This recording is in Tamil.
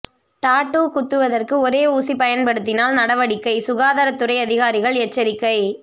டாட்டூ குத்துவதற்கு ஒரே ஊசி பயன்படுத்தினால் நடவடிக்கை சுகாதாரத்துறை அதிகாரிகள் எச்சரிக்கை